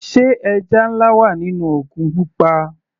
Sé ẹja nlá wà nínú òkun pupa.